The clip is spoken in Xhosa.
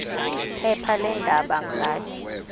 phepha leendaba ngathi